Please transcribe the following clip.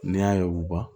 N'i y'a ye u ban